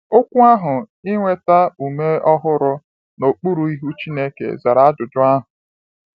Okwu ahụ “Inweta Ume Ọhụrụ N’okpuru Ihu Chukwu” zara ajụjụ ahụ.